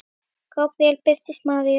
Gabríel birtist Maríu